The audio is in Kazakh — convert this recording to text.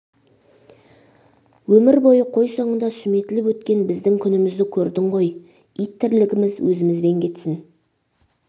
өмір бойы қой соңында сүметіліп өткен біздің күнімізді көрдің ғой ит тірлігіміз өзімізбен кетсін